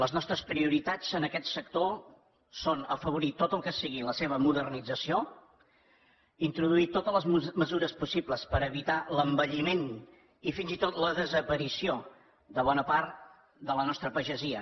les nostres prioritats en aquest sector són afavorir tot el que sigui la seva modernització introduir totes les mesures possibles per evitar l’envelliment i fins i tot la desaparició de bona part de la nostra pagesia